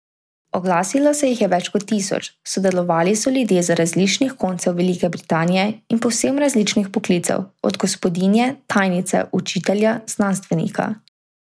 Oglasilo se jih je več kot tisoč, sodelovali so ljudje z različnih koncev Velike Britanije in povsem različnih poklicev, od gospodinje, tajnice, učitelja, znanstvenika ...